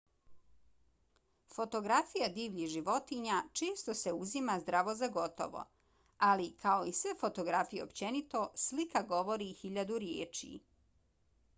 fotografija divljih životinja često se uzima zdravo za gotovo ali kao i sve fotografije općenito slika govori hiljadu riječi